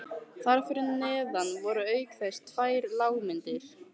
Þar fyrir neðan voru auk þess tvær lágmyndir